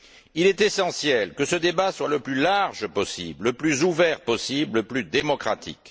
Il est essentiel que ce débat soit le plus large possible, le plus ouvert possible, le plus démocratique.